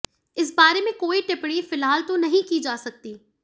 इस बारे में कोई टिप्पणी फिलहाल तो नहीं की जा सकती